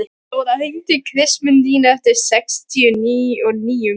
Dóra, hringdu í Kristmundínu eftir sextíu og níu mínútur.